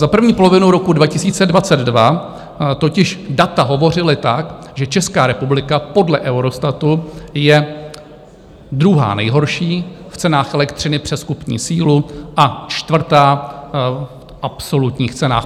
Za první polovinu roku 2022 totiž data hovořila tak, že Česká republika podle Eurostatu je druhá nejhorší v cenách elektřiny přes kupní sílu a čtvrtá v absolutních cenách.